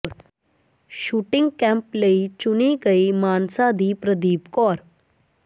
shooting camp ਲਈ ਚੁਣੀ ਗਈ ਮਾਨਸਾ ਦੀ ਪ੍ਰਦੀਪ ਕੌਰ